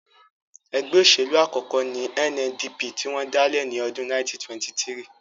Ẹgbẹ́ òṣèlú àkọ́kọ́ ní NNDP tí wọ́n dálẹ̀ ní ọdún 1923